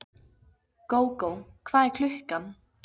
Gógó, hvað er klukkan?